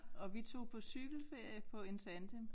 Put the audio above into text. Og vi tog på cykelferie på en tandem